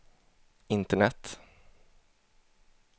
internet